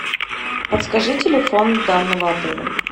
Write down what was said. подскажи телефон данного отеля